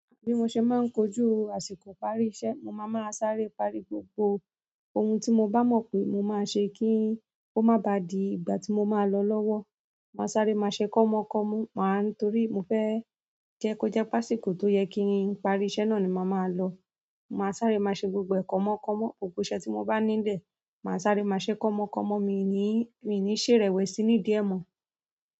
Bí mo ṣe máa ń kojú àsìkò ìparí iṣẹ́, mo máa máa sáré parí gbogbo ohun tí mo bá mọ̀ pé mo máa ṣe kí i ó má baà di ìgbà tí mo máa lọ lọ́wọ́. Màá sáré, màá ṣe kọ́mọ kọ́mọ, torí mo fẹ́ jẹ́ kó jẹ́ pé àsìkò tó yẹ kí n parí iṣẹ́ náà ni máa máa lọ. Ma sáré máa ṣe gbogbo e kọmọ kọmọ, gbogbo iṣẹ́ ti mo ba ni ile maa sáré ma ṣe kọmọ kọmọ, mi i ni ṣe irewesi nidi e mo.